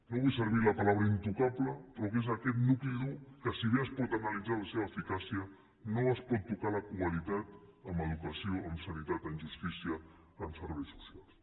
no vull fer servir la paraula intocable però que és aquest nucli dur que si bé es pot analitzar la seva eficàcia no es pot tocar la qualitat en educació en sanitat en justícia en serveis socials